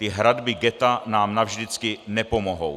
Ty hradby ghetta nám navždycky nepomohou.